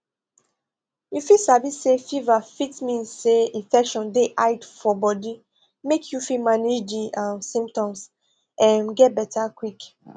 you fit sabi say fever fit mean say infection dey hide for body make you fit manage di um symptoms um get beta quick